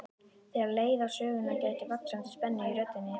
Þegar leið á söguna gætti vaxandi spennu í röddinni.